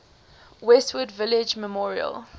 westwood village memorial